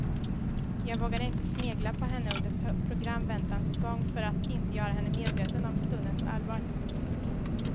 Jag vågade inte snegla på henne under programväntans gång för att inte göra henne medveten om stundens allvar.